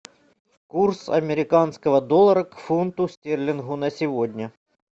курс американского доллара к фунту стерлингу на сегодня